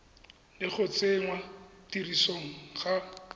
le go tsenngwa tirisong ga